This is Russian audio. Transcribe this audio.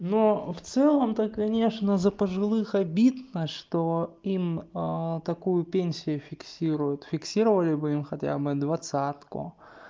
но в целом то конечно за пожилых обидно что им такую пенсию фиксируют фиксировали бы им хотя бы двадцатку